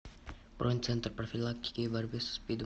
бронь центр профилактики и борьбы со спидом